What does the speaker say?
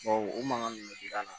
Bawo o mankan ninnu bɛ giranna